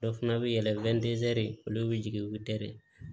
Dɔ fana bɛ yɛlɛn olu bɛ jigin u bɛ teri